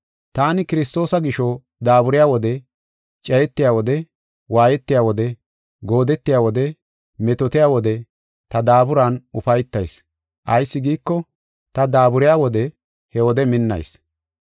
Taani Kiristoosa gisho, daaburiya wode cayetiya wode waayetiya wode goodetiya wode metootiya wode ta daaburan ufaytayis. Ayis giiko, ta daaburiya wode, he wode minnayis.